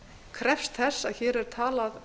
krefst þess að hér sé talað